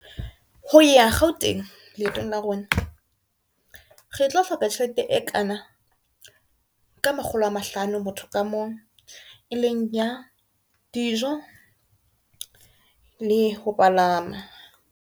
Ho ya Gauteng, leetong la rona re tlo hloka tjhelete e kana ka makgolo a mahlano, motho ka mong e leng ya dijo le ho palama.